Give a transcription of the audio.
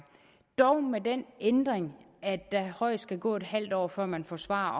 dog med den ændring at der højst skal gå en halv år før man får svar